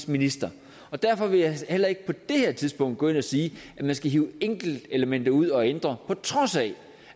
minister derfor vil jeg heller ikke på det her tidspunkt gå ind og sige at man skal hive enkeltelementer ud og ændre på trods af